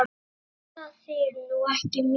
Þú spilaðir nú ekki mikið?